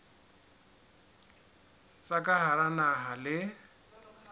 tsa ka hara naha le